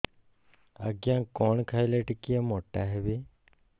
ଆଜ୍ଞା କଣ୍ ଖାଇଲେ ଟିକିଏ ମୋଟା ହେବି